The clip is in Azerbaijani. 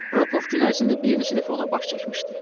Rokov gün ərzində bir neçə dəfə ona baş çəkmişdi.